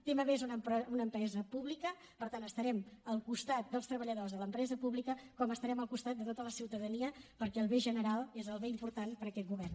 tmb és una empresa pública per tant estarem al costat dels treballadors de l’empresa pública com estarem al costat de tota la ciutadania perquè el bé general és el bé important per a aquest govern